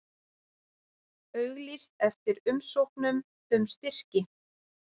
Auglýst eftir umsóknum um styrki